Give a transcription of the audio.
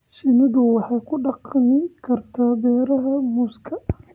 Shinnidu waxay ku dhaqmi kartaa beeraha muuska.